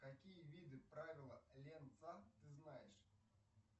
какие виды правила ленца ты знаешь